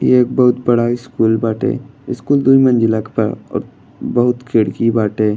ये एक बहुत बड़ा स्कूल बाटे। स्कूल दुई मंज़िला के बा और बहुत खिड़की बाटे।